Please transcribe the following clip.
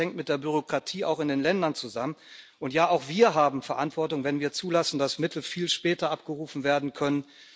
Ja, vieles hängt mit der Bürokratie auch in den Ländern zusammen und ja, auch wir haben Verantwortung, wenn wir zulassen, dass Mittel viel später abgerufen werden können.